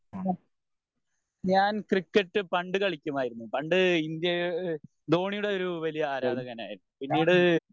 ഞാൻ ക്രിക്കറ്റ് പണ്ട് കളിക്കുമായിരുന്നു പണ്ട് ഇന്ത്യ ധോണിയുടെ ഒരു വലിയ ആരാധകനായിരുന്നു പിന്നീട്